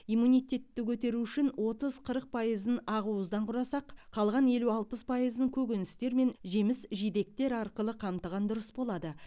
иммунитетті көтеру үшін отыз қырық пайызын ақуыздан құрасақ қалған елу алпыс пайызын көкөністер мен жеміс жидектер арқылы қамтыған дұрыс болады